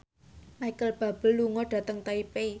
Micheal Bubble lunga dhateng Taipei